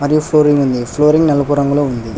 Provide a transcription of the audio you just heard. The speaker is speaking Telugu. ఫ్లోరింగ్ ఉంది ఫ్లోరింగ్ నలుపు రంగులో ఉంది.